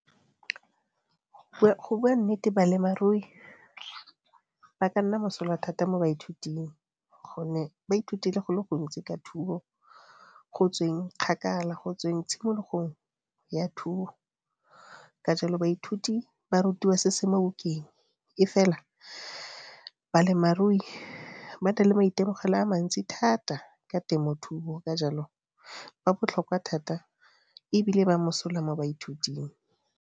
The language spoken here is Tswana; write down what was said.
Go bua nnete ba ka nna mosola thata mo baithuting gonne ba ithutile go le gontsi ka thuo go tsweng kgakala, go tsweng tshimologong ya thuo. Ka jalo baithuti ba rutiwa se se mo bukeng e fela ba na le maitemogelo a mantsi thata ka temothuo. Ka jalo ba botlhokwa thata e bile ba mosola mo baithuting.